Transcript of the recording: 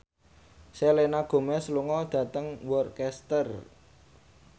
Selena Gomez lunga dhateng Worcester